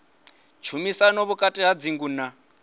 shumisana vhukati ha dzingo na